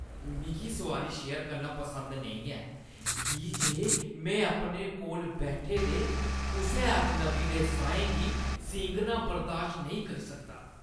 मिगी सोआरी शेयर करना पसंद नेईं ऐ की जे में अपने कोल बैठे दे कुसै अजनबी दे साहें गी सींघना बर्दाश्त नेईं करी सकदा।